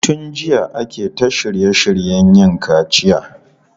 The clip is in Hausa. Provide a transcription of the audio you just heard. Tun jiya ake ta shirye shiryen yin kaciya.